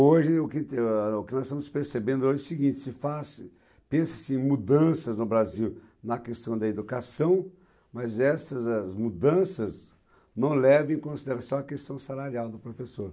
Hoje, o que que ah, o que nós estamos percebendo é o seguinte, se faz, pensa-se em mudanças no Brasil na questão da educação, mas essas as mudanças não levam em consideração a questão salarial do professor.